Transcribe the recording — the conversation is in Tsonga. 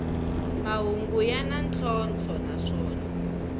mahungu ya na ntlhontlho naswona